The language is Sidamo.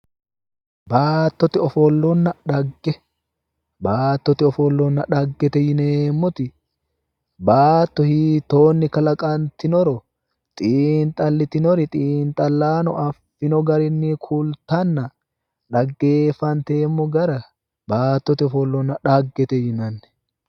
baattote ofollonna xagge baattote ofollonna xaggete yineemmoti baatto hiittoonni kalaqantinoro xiinxalitinori xiinxallaano affino garinni kultanna xaggeeffanteemmo gara baattote ofollonna xaggaese yinanni.